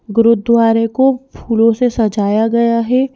गुरुद्वारे को फूलों से सजाया गया है।